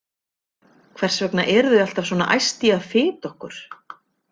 Hvers vegna eru þau alltaf svona æst í að fita okkur?